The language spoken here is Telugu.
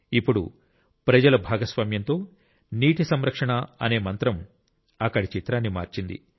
ఇప్పుడు ప్రజల భాగస్వామ్యం తో నీటి సంరక్షణ అనే మంత్రం అక్కడి చిత్రాన్ని మార్చింది